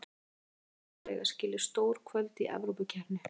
Stuðningsmenn okkar eiga skilið stór kvöld í Evrópukeppni.